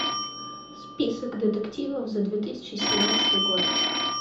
список детективов за две тысячи семнадцатый год